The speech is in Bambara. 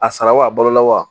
A sara wa a balola wa